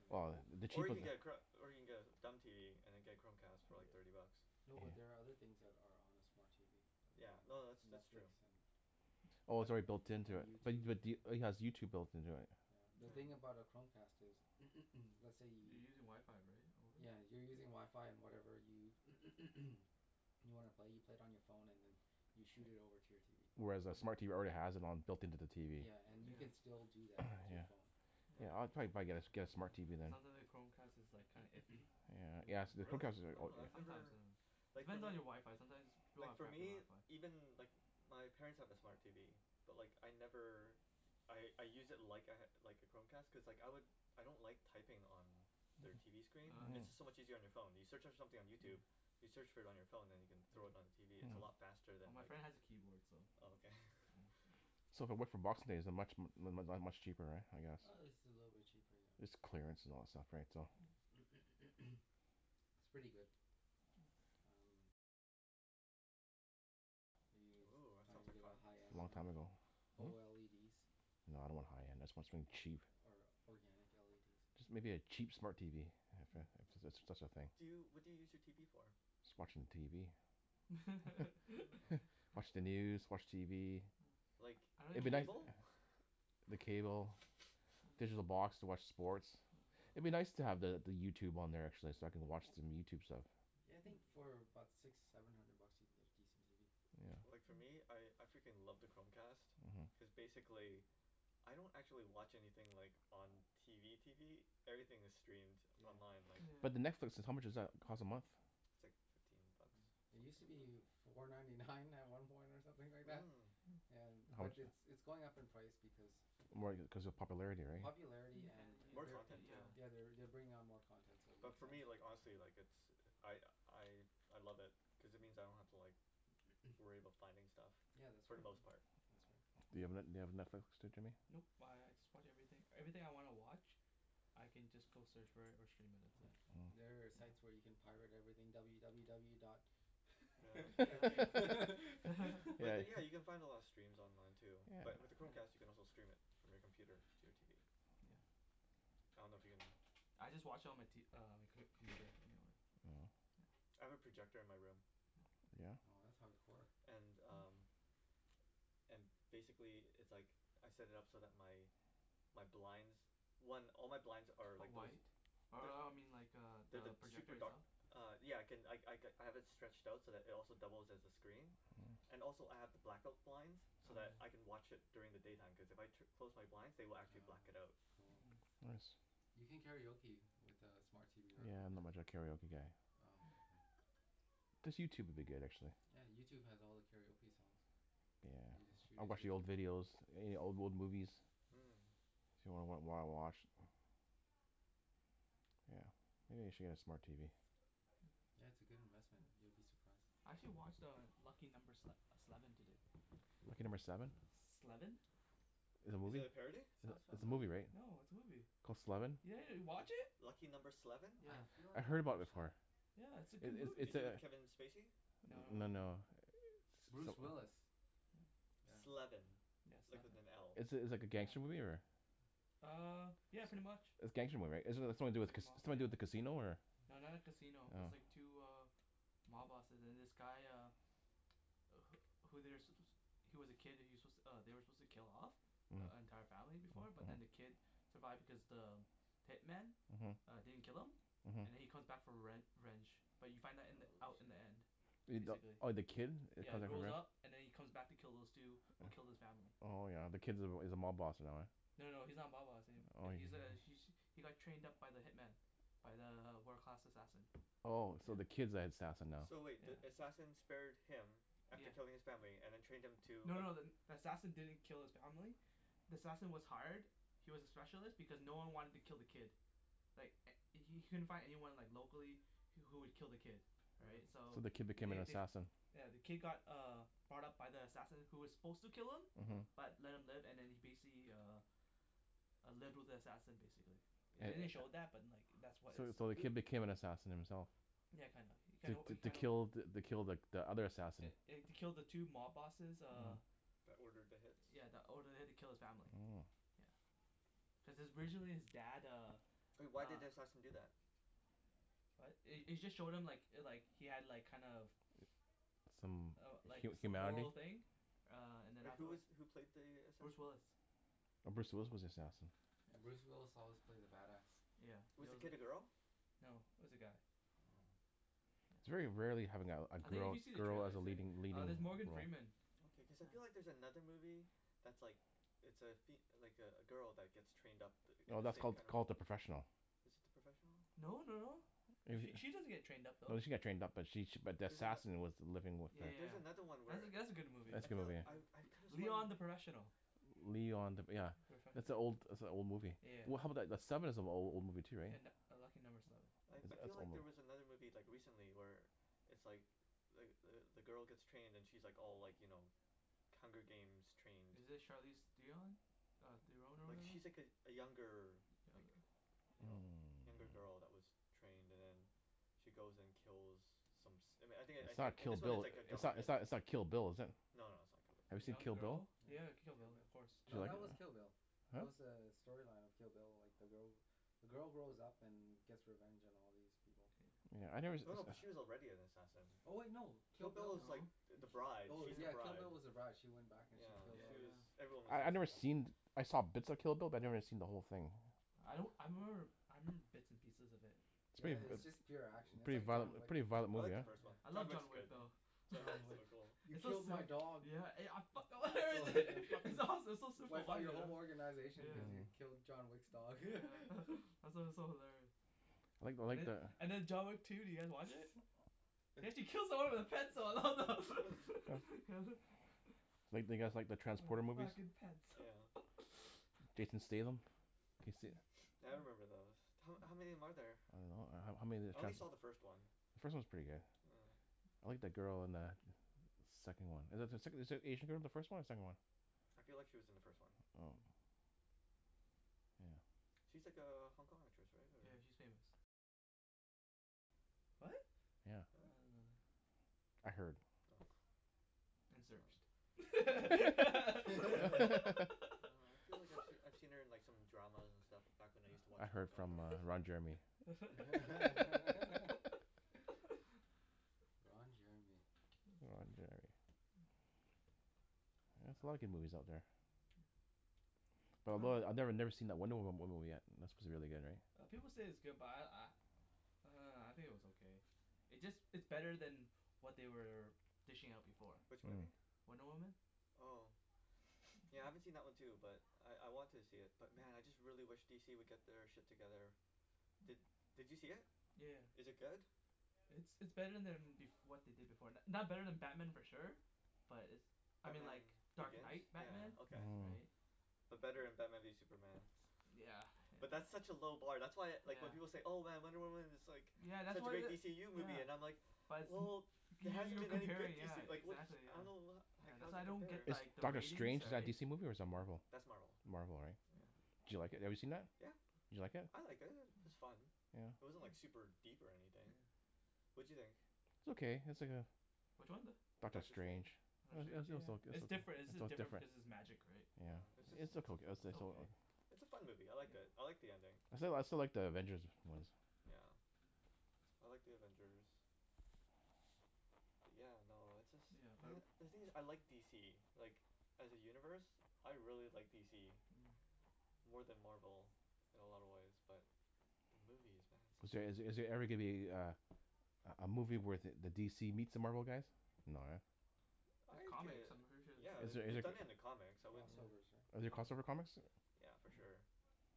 an Well actual the Or cheap you of can get a chro- or you can get a dumb TV and then get a Chromecast TV for like thirty bucks no but there are other things that are on a smart TV like Yeah uh no net- that's that's Netflix true and Oh I it's an- already built an- into and it bu- YouTube but do- it has YouTube built into it? yeah, the thing yeah Mm about a Chromecast is let's say You're you using wifi right over yeah you're using wifi and whatever you you wanna play you play it on your phone and then you shoot it over to your TV Whereas a smart yeah TV already has it on it built into the TV yeah and you Mm can yeah still do that with your yeah phone Yeah I I Yeah yeah probably probably get a get a smart TV It then sounds li- like Chromecast is like kinda iffy Yeah yes the Really? Chromecast is oh Oh I've sometimes never uh It Like fo- depends on your wifi sometimes pe- people Like have for crappy me, wifi even like wh- my parents have a smart TV but like I never I I use it like I ha- like a Chromecast cuz like I lik- I don't like typing on their TV screen oh it's just so yeah Mm much easier on your phone, you search on something on yeah YouTube you search for it on your phone then you can thrown it on yeah your TV its no, a lot faster than well my friend has a keyboard so oh okay yeah so So if I went for boxing day is it much mu- mu- much cheaper right I guess uh it's a little bit cheaper yeah It's clearance and all that stuff right so yeah it's pretty good Hmm are you Ooh that trying sounds to like get a fun high end Long one time ago Oh No I don't want high end I want something or cheap or organic LEDs Just maybe a cheap smart TV Yeah if if that's that's a thing Do you, what do you use your TV for? Just watching TV oh watch the news watch TV oh Like I- I- don't I'd be even nic- use uh it cable? the cable digital oh box to watch sports huh Oh I'd be nice to the the YouTube on there actually so I can watch some YouTube stuff yeah I think for about six seven hundred bucks you can get a decent TV Yeah Like for me I I freaking love the Chromecast uh-huh cuz basically I don't actually watch anything like on TV TV everything is streamed it's yeah online like yeah But the Netflix how much does that cost a month It's like fifteen bucks yeah it use to be four ninety nine at some point or something like that Hmm yeah How but muc- it's it's going up in price because More cuz of popularity right popularity yeah and an- More they're u- content too yeah yeah they're they're bring on more content so it But makes for sense me Hmm like honestly like it's I I I love it cuz it means I yeah don't have to like worry about finding stuff yeah that's for right the Hmm most part. that's right Do you have Net- do you have Netflix too Jimmy? Nope I I just watch everything, everything I wanna watch I can just go search for it or stream it that's it hmm yeah oh there are site yeah where you can pirate everything w w w dot yeah yeah yeah But yeah then yeah you can find a lot of steams online too but yeah with the yeah Chromecast you can also stream it from your computer to your TV. yeah yeah I don't know if you can I just watch on my t- uh on my com- computer anyways Mm yeah I have a projector in my room. yeah oh that's hardcore and um and basically it's like I set it up so that my my blinds one all my blinds are are like those white uh they- uh I mean like They're the the project super dark itself Uh yeah I can I I have it stretched out so it also doubles as a screen Mmm and also I have the black-out blinds oh so yeah that I can watch it during the daytime cause if I tu- close my blinds they will actually oh black it out cool Hmm nice you can karaoke with uh smart TV or Yeah not Chromecast much of a karaoke guy oh Hmm okay Just YouTube would be good actually yeah YouTube has all the karaoke songs you just Yeah shoot I'll it to watch your the old TV videos any old old movies yeah Hmm If you wanna wa- wa- watch Yeah maybe I should get a smart TV yeah it's a good investment you'll be surprised I actually watch uh Lucky Number Sle- Sleven today Lucky Number Seven? Sleven Is it a Is it movie? a parody? sounds It's it's a movie familiar right? No it's a movie Called Sleven yeah yeah you watch it? Lucky Number Sleven? I yeah feel I like heard I've about it watched that before Yeah it's a It good it it's movie Is it a with Kevin Spacey? no No no no no Bruce some- Willis yeah Sleven, yeah like sleven with an L. It's it's like a gangster yeah movie or? ah uh yeah pretty much It's gangster movie right it it's something to yeah do it's with like ca- a it's mob something to do yeah with a casino or? no not like casino its Oh like two uh mob bosses and this guy uh wh- who they're su- suppo- he's was a kid he was su- they were suppose to kill off the Hm entire family before but then the uh-huh kid survived because the hitman uh-huh didn't kill him and then uh-huh he come back for rev- revenge but you find that in the oh out in shit the end uh the basically oh the kid it yeah comes back grows around up and then he comes back to kill those two who killed his family Oh yeah the kid's- is a mob boss and all yeah no no no he's not a mob boss a- oh he's a he he got trained up by the hitman by the wo- world class assassin Oh so the yeah kid's the assassin now? So wait the yeah assassin spared him after yeah killing his family and then trained him to No no the- then the assassin didn't kill his family the assassin was hired he was a specialist because no one wanted to kill the kid like h- he couldn't find anyone like locally wh- who would kill the kid right right so So the kid became an they they assassin yeah the kid got uh brought up by the assassin who was suppose to kill him uh-huh uh-huh but left him live and then he basically uh uh lived with the assassin basically the- they didn't It show oh that but like that was So is so the who kid became an sup- assassin himself yeah kinda, you kinda To you to kinda kill the kill the the other assassin eh eh to kill the two mob bosses uh uh-huh That ordered the hits yeah that ordered the hit to kill his family Mmm yeah cuz his originally his dad uh But why did uh the assassin do that? what it- it just showed him like like he had like kind of Some uh like hu- some humanity moral thing uh and then But who afterward is who played the Bruce assassin? Willis Oh Bruce Willis was the yeah assassin yeah Bruce Willis always plays a bad ass yeah he Was the al- kid a girl? , no it was a guy yeah oh Hmm yeah It's very rarely having a a I think if girl you see the girl as trailer a say leading leading there's role Morgan Freeman Okay cause I feel yeah like there's another movie that's like It's a fem- like a a girl that get's trained up th- in No the that's same called kinda called The Professional Is it The Professional? no no no It She wa- she doesn't get trained up No though she got trained up but she she but the She's an assassin was the living with yea- the Like there's yea- another one yeah where that that's a good movie That's I a good feel movie I I though could've sworn Leon The Professional Leon The yeah That's an old that's a old movie yeah Well how I about the the Sleven is an a- old movie too right and a Lucky Number Sleven That's I I that's feel like old there was mov- another movie like recently where it's like like the the girl gets trained and she like all like you know Hunger Games trained Is it Charlize Theon? mm Theron or like whatever? she's like a younger like you know younger Hmm girl that was trained and then she goes and kills some som- I thin- I It's not think Kill this one its Bill like a it's not government it's not Kill Bill is it? no no it's not Kill Bill Have A you seen young Kill Bill girl? Yeah you have a Kill Bill of course Did you No like it? that was Kill Bill huh? That's was uh the storyline of Kill Bill like the girl the girl grows up and gets revenge on all these people Yeah I nev- us- no no but us- she was already an assassin Oh no Kill Kill Bill Bill was like No th- Ki- the bride oh she's the yeah yeah Kill bride Bill was the brige she went back and she yeah yeah killed she all these was yeah yeah everyone was I I've never seen I saw bits of Kill Bill but I never seen the whole thing I don't Hmm I remember I remember bits and pieces of it It's yeah prett- it- its yeah just uh pure action it's Pretty like violent John mo- yeah Wick pretty violent I movie like the yeah. hey first one I John love yeah, Wick's John Wick good though yeah John Wick is John Wick so cool he It's so killed my sil- dog yeah I I fuck- fucken it's awesome it's so super wipe out your violent whole organization because yeah you Hmm killed John Wick's dog yeah it's it's so hilarious I like I and like the- the and then John Wick two did you guys watch it? He actually yeah kills someone with a pencil oh Do you like do you guys like the wear Transporter the movies fucking pants yeah Jason Statham can yo- se- Yeah I remember those, ho- how many are there? I don't know ho- how many of I the only trans- saw the first one The first one's pretty good Yeah I like the girl in the second one Is is the sec- is the Asian girl in the first one or the second one I feel like she was in the first one Oh Hmm yeah She's like a Hong Kong actress right Yeah or she's famous what? yeah Yeah? I didn't know that I heard Oh and Oh searched No I feel like I I've seen her in some dramas and stuff back when I use to watch I Hong heard Kong from uh dramas Ron Jeremy Ron Jeremy Ron Jeremy Yeah there's a lot yeah of good movies out there But depends I I never never seen that Wonder Woma- Woman movie yet that's suppose to be really good right uh people say its good but I I uh I think it was okay It's just it's better then what they were dishing out before Which Hmm movie? Wonder Woman Oh Yeah I haven't seen that one too but I I want to see it but man I really wish DC would get their shit together Did did you see it? yea- yeah Is it good? It's it's better then bef- what they did before, it's not better then Batman for sure But it's I mean Batman like Dark Begins? Night Batman Yeah okay. Hmm right But better than maybe Superman yeah But that's yeah such a low bar that's why like when yeah people say "Oh man Wonder Woman is like Yeah that's such a what great wha- DCU movie" yeah I'm like But Wel- it's- well there You- hasn't you're been any good comparing yeah DC like what the exactly I don't yeah know ho- Yeah that's how's why it I don't get compares Is like the Doctor ratings Strange is that a right DC movie or is that Marvel That's Marvel Marvel right yeah Yeah Did you like it have you seen that? yeah Did you like it? I liked it i- it was fun yeah It wasn't like super deep or anything yeah What'd you think? It's okay it's like a which one the Doctor Doctor Strange Strange it Doctor was it Strange was yeah oka- it it's different it's jus- was different different because its magic right Yeah yeah it's just it's it's a It's a fun movie, I liked it, I like the ending. I still like I still like The Avengers ones Yeah I like The Avengers Yeah no it's just yeah uh man the thing is I like DC like as a universe I really like DC Hmm more then Marvel in a lot of way but the movies man Is there they're just so is good there every gonna be a a a a movie where the DC meets the Marvel guys no eh I There's like comics it, I'm pretty sure there's yeah Is the- comic there they any- done it in the comics I cross wouldn't yeah overs right Are there yeah cross over comics yeah for yeah sure